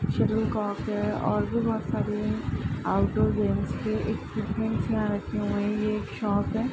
shuttlecock है और भी बहुत सारी है आउटडोर गेम्स के इक्विपमेंट यहाँ रखी हुई है ये एक शॉप है |